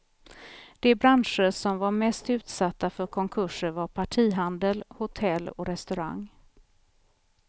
De branscher som var mest utsatta för konkurser var partihandel, hotell och restaurang.